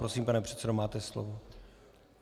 Prosím, pane předsedo, máte slovo.